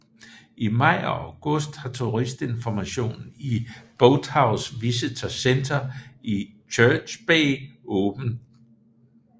I maj og august har turistinformationen i Boathouse Visitor Center i Church Bay åbent